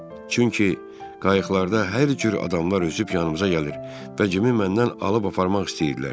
Çünki qayıqlarda hər cür adamlar üzüb yanımıza gəlir və Cimi məndən alıb aparmaq istəyirdilər.